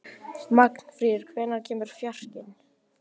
Magnfríður, hvenær kemur fjarkinn?